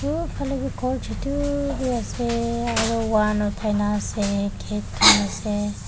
aro uphalae bi khor chutu bi ase aro wan othai na ase gate khanase.